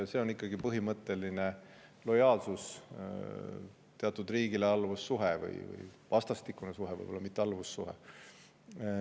See on ikkagi põhimõtteline lojaalsus teatud riigile, alluvussuhe – või vastastikune suhe, võib-olla mitte alluvussuhe.